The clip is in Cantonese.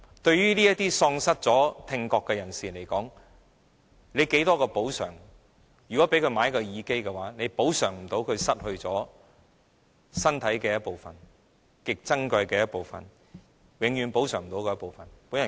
對於這些已經喪失聽覺的人士而言，不管提供多少補償，供他購買耳機，也無法補償他失去身體的一部分、極珍貴的一部分、永遠無法補償的一部分。